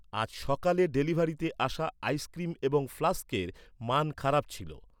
আজ সকালে ডেলিভারিতে আসা আইসক্রিম এবং ফ্লাস্কের মান খারাপ ছিল।